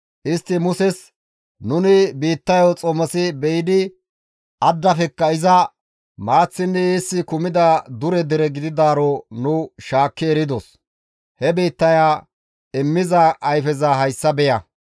Istti Muses, «Nuni biittayo xomosi be7idi addafekka iza maaththinne eessi kumida dure dere gididaaro nu shaakki eridos; he biittaya immiza ayfeza hayssa beya.